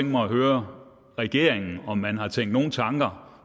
mig at høre regeringen om man har tænkt nogle tanker